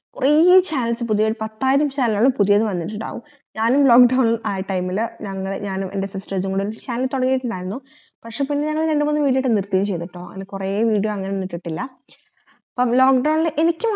കൊറേ channels പുതുയത് ഒരു പത്തായിരം ൻ channel കൾ പുതുതായി വന്നിട്ടുണ്ടാകും ഞാനും lock down ആയ time ഇത് ഞങ്ങൾ ഞാനും ൻറെ sister ആയിട്ടൊരു channel തൊടങ്ങീട്ടുണ്ടായിരുന്നു പക്ഷെ പിന്നെ ഞങ്ങൾ രണ്ടുമൂന്നു video ട്ട് നിർത്തി ച്യ്തുട്ടോ കൊറേ video അങ്ങനെന്നും ഇട്ടിട്ടില്ല അപ്പൊ lock down ഇൽ എനിക്